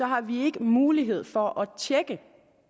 har vi ikke mulighed for at tjekke